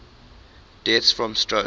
deaths from stroke